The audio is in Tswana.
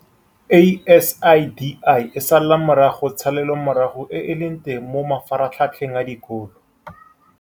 ASIDI e sala morago tshalelomorago e e leng teng mo mafaratlhatlheng a dikolo